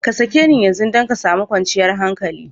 Ka sake ni yanzu don ka sami kwanciyar hankali!